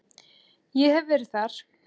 Ég hef verið þar.